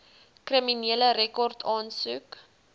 kriminele rekord aansoek